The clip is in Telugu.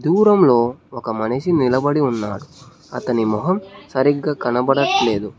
దూరంలో ఒక మనిషి నిలబడి ఉన్నాడు అతడి మొహం సరిగ్గా కనబడట్లేదు.